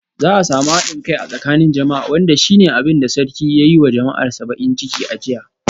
Za a samu hadin kai a tsakanin jama'a wanda shi ne abin da sarki ya yi wa jama'arsa bakin ciki a jiya.